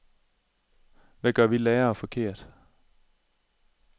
Hvad gør vi lærere forkert?